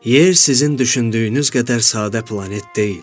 Yer sizin düşündüyünüz qədər sadə planet deyil.